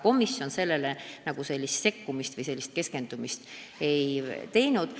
Komisjon sellesse sekkuda või sellele keskenduda esialgu vajalikuks ei pidanud.